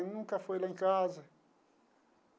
Nunca foi lá em casa.